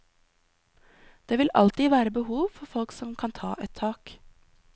Det vil alltid være behov for folk som kan ta et tak.